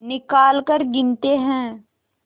निकालकर गिनते हैं